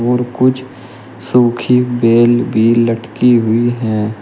और कुछ सुखी बेल भी लटकी हुई है।